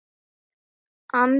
andi þennan strák.